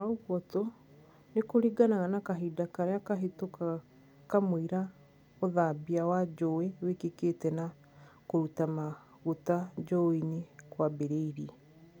Ona ugtwo, nikũringanaga na kahinda karia kahitũkaga kamwira ũthambia wa njowe wikikite na kũruta maguta njowe-ini kũambiriria